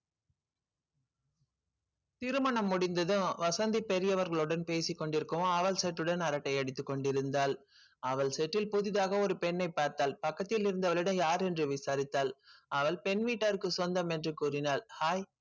திருமணம் முடிந்ததும் வசந்தி பெரியவர்களுடன் பேசிக் கொண்டிருக்கவும் அவள் set உடன் அரட்டை அடித்துக் கொண்டிருந்தாள் அவள் set ல் புதிதாக ஒரு பெண்ணைப் பார்த்தாள் பக்கத்தில் இருந்த அவளிடம் யார் என்று விசாரித்தாள் அவள் பெண் வீட்டாருக்கு சொந்தம் என்று கூறினாள் hi